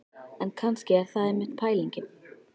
En kannski er það einmitt pælingin.